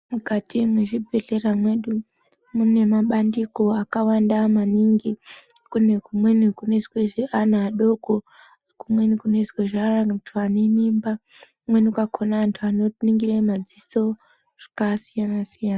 Mukati mwezvibhedhleya mwedu, mune mabandiko akawanda maningi. Kune kumweni kunoizwe zveana adoko, kumweni kunoizwe zveanthu ane mimba , kumweni kwakhona anhu anoningire maziso zvakasiyana-siyana.